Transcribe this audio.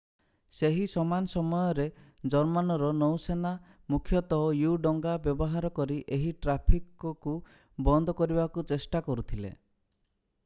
ସେହି ସମାନ ସମୟରେ ଜର୍ମାନର ନୌସେନା ମୁଖ୍ୟତଃ ୟୁ-ଡଙ୍ଗା ବ୍ୟବହାର କରି ଏହି ଟ୍ରାଫିକକୁ ବନ୍ଦ କରିବାକୁ ଚେଷ୍ଟା କରୁଥିଲେ